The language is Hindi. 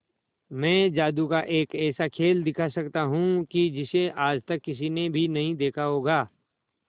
मैं जादू का एक ऐसा खेल दिखा सकता हूं कि जिसे आज तक किसी ने भी नहीं देखा होगा